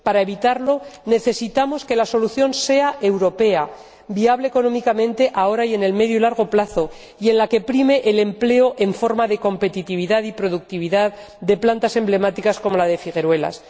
Para evitarlo, necesitamos que la solución sea europea, viable económicamente ahora y a medio y largo plazo, y en la que prime el empleo en forma de competitividad y productividad de plantas emblemáticas, como la de Figueruelas.